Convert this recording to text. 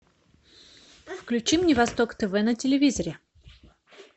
включи мне восток тв на телевизоре